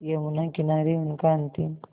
यमुना किनारे उनका अंतिम